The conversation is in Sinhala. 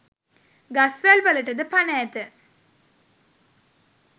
ගස්වැල් වලටද පණ ඇත.